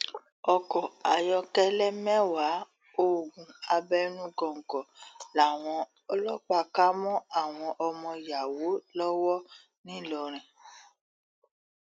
ọkọ ayọkẹlẹ mẹwàá oògùn abẹnugọńkọ làwọn ọlọpàá kà mọ àwọn ọmọ yàwó lọwọ ńìlọrin